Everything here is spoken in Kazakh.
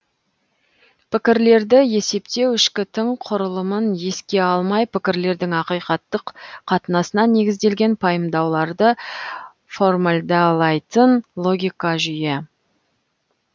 пікірлерді есептеу ішкі тың құрылымын еске алмай пікірлердің ақиқаттық қатынасына негізделген пайымдауларды формалдалайтын логика жүйе